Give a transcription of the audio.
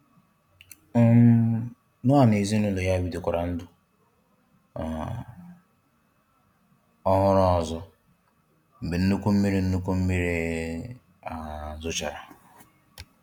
um Noah na ezinụlọ ya bidokwara ndụ um ọhụrụ ọzọ mgbe nnukwu mmiri nnukwu mmiri um zochara